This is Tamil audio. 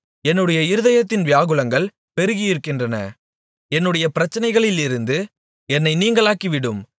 என்னுடைய இருதயத்தின் வியாகுலங்கள் பெருகியிருக்கின்றன என்னுடைய பிரச்சனைகளிலிருந்து என்னை நீங்கலாக்கிவிடும்